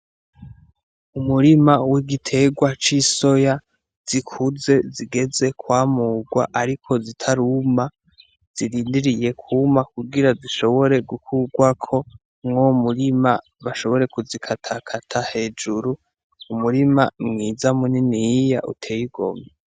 Umurima w'igitegwa c'isoya zikuze zigeze kwamugwa ariko zitaruma, zirindiriye kuma kugira zishobore gukugwako mw'uwo murima bashobore kuzikata kata hejuru, umurima mwiza muniniya utey'igomwe.